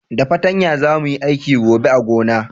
Da patanya za mu yi aiki gobe a gona